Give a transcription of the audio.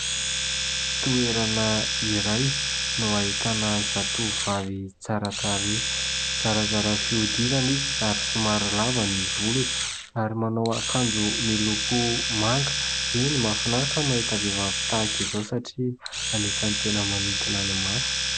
toerana iray no ahitana zatovovavy tsara tarehy, zarazara fihodirana izy ary somary lava ny volony ary manao akanjo miloko manga. Eny mahafinaritra mahita vehivavy tahaka izao satria anisany tena manintona ny maso.